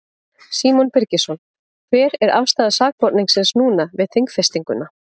Símon Birgisson: Hver er afstaða sakborningsins núna við þingfestinguna?